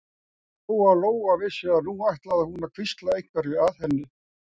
Lóa-Lóa vissi að nú ætlaði hún að hvísla einhverju að henni.